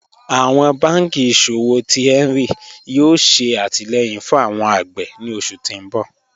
Awọn bànkí iṣọ̀wọ̀ tí Hẹnri yóò ṣè àtìlẹ̀yìn fún awọn agbè ni oṣù ti ǹ bọ̀